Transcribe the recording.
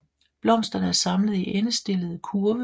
Blomsterne er samlet i endestillede kurve